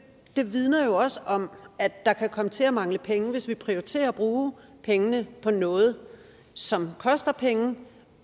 vidner jo også om at der kan komme til at mangle penge hvis vi prioriterer at bruge pengene på noget som koster penge